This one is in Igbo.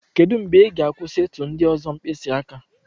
Kedu mgbe ị ga-akwụsị ịtụ ndị ọzọ mkpịsị aka?